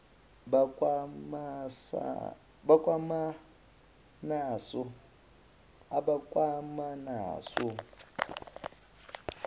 bakwamanaso